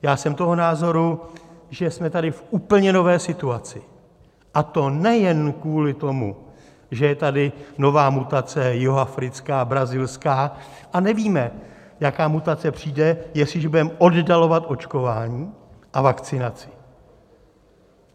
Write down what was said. Já jsem toho názoru, že jsme tady v úplně nové situaci, a to nejen kvůli tomu, že je tady nová mutace jihoafrická, brazilská a nevíme, jaká mutace přijde, jestliže budeme oddalovat očkování a vakcinaci.